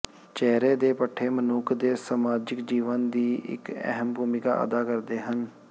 ਚਿਹਰੇ ਦੇ ਪੱਠੇ ਮਨੁੱਖ ਦੇ ਸਮਾਜਿਕ ਜੀਵਨ ਦੀ ਇੱਕ ਅਹਿਮ ਭੂਮਿਕਾ ਅਦਾ ਕਰਦੇ ਹਨ